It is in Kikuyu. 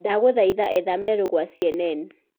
ndagũthaĩtha etha meeru gwa c.n.n